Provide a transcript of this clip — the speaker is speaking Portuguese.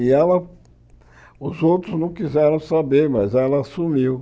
E ela, os outros não quiseram saber, mas ela assumiu.